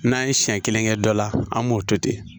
N'an ye siɲɛ kelen kɛ dɔ la an b'o to ten